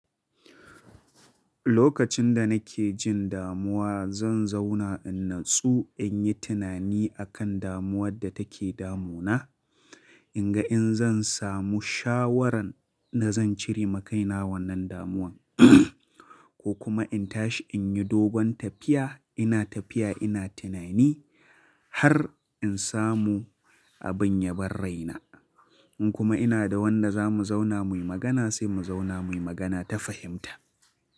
Lokacin da nake jin damuwa zan zauna in natsu in yi tunani akan damuwar da take damunana. In ga in zan samu shawarar da zan cire makaina wannan damuwan ko kuma in tashi in yi dogon tafiya. Ina tafiya ina tunani har in samu abin ya bar raina. In kuma ina da wanda za mu zauna muyi magana sai mu zauna muyi magana ta fahimta.